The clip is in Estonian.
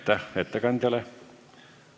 Aitäh ettekandjale!